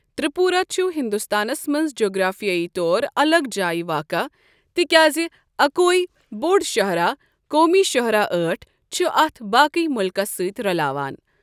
تِرٛیپوٗرا چھ ہِنٛدستانَس مَنٛز جَغرافِیٲیی طورٕ اَلَگ جاییہِ واقعہ، تہ کیازِ اَکُویی بوٚڈ شاہِراہ قومی شاہِرا أٹھ ، چُھ اَتھ باقٕے ملکس سۭتۍ رلاوان ۔